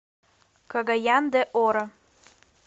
кагаян де оро